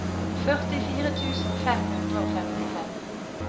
førtifire tusen fem hundre og femtifem